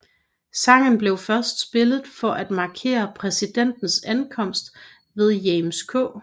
Sangen blev først spillet for at markere præsidentens ankomst ved James K